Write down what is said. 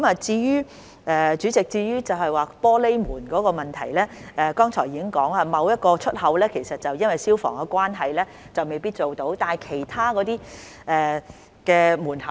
主席，至於玻璃門的問題，我剛才已提到，某一個出口因消防緣故而未必可以安裝玻璃門。